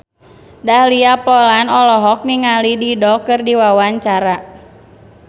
Dahlia Poland olohok ningali Dido keur diwawancara